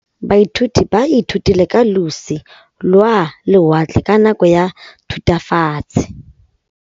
Baithuti ba ithutile ka losi lwa lewatle ka nako ya Thutafatshe.